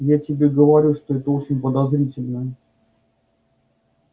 я тебе говорю что это очень подозрительно